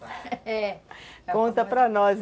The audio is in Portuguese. conta para nós